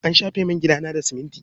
An shafe min gidana da siminti.